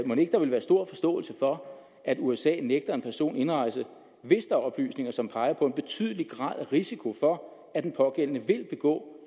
mon ikke der vil være stor forståelse for at usa nægter en person indrejse hvis der er oplysninger som peger på en betydelig grad af risiko for at den pågældende vil begå